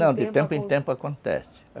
Não, de tempo em tempo acontece.